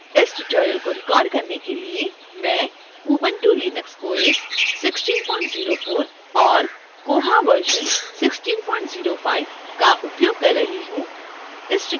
इस ट्यूटोरियल को रिकॉर्ड करने के लिए मैं ubuntu linux os 1604 और koha version 1605 का उपयोग कर रही हूँ